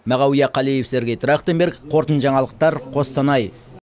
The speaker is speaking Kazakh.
мағауия қалиев сергей трахтенберг қорытынды жаңалықтар қостанай